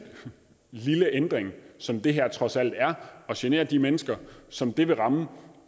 lille ændring som det her trods alt er og genere de mennesker som det vil ramme